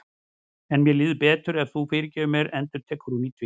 En mér líður betur ef þú fyrirgefur mér, endurtekur hún í tvígang.